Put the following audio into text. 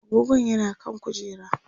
agogon yana kan kujera